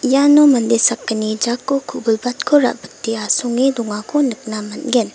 iano mande sakgni jako ku·bilbatko ra·bite asonge dongako nikna man·gen.